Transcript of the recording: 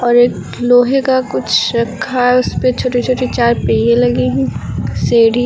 और एक लोहे का कुछ रखा है उस पे छोटी छोटी चार पहिए लगे हैं एक सीढ़ी--